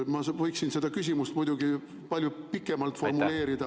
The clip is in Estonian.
Ma võiksin küsimust muidugi palju pikemalt formuleerida …